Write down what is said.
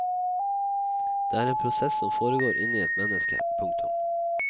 Det er en prosess som foregår inni et menneske. punktum